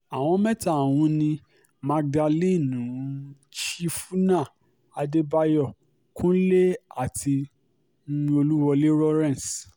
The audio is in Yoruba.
àwọn mẹ́ta ọ̀hún ni magdalen um chiefuna adébáyò kúnlé àti um olúwọlé lawrence